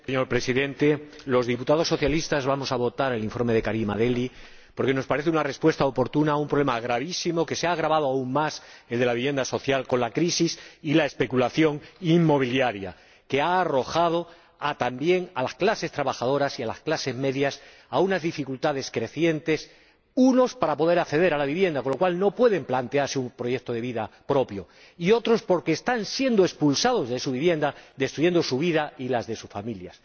Señor Presidente, los diputados socialistas vamos a votar a favor del informe de Karima Delli porque nos parece una respuesta oportuna a un problema el de la vivienda social gravísimo, que se ha agravado aún más con la crisis y la especulación inmobiliaria, que ha arrojado también a las clases trabajadores y a las clases medias a unas dificultades crecientes unos para poder acceder a la vivienda, con lo cual no pueden plantearse un proyecto de vida propio, y otros porque están siendo expulsados de su vivienda, lo que destruye su vida y la de sus familias.